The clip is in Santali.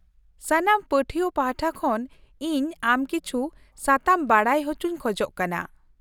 ᱥᱟᱱᱟᱢ ᱯᱟᱹᱴᱷᱣᱟᱹ ᱯᱟᱷᱴᱟ ᱠᱷᱚᱱ ᱤᱧ ᱟᱢ ᱠᱤᱪᱷᱩ ᱥᱟᱛᱟᱢ ᱵᱟᱰᱟᱭ ᱦᱚᱪᱚᱧ ᱠᱷᱚᱡ ᱠᱟᱱᱟ ᱾